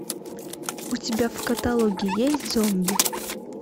у тебя в каталоге есть зомби